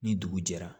Ni dugu jɛra